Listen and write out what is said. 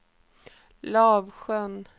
Lavsjön